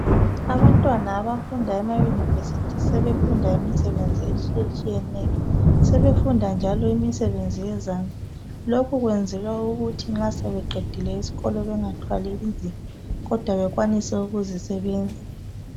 abantwana abafuna ema bafunda ema university imisebenzi etshiyetshiyeneyo sebefunda njalo imisebenzi yezandla lokho kuyenzelwa ukuthi nxasebeqedile esikolo bengathwali nzima kodwa bekwanise ukuzisebenza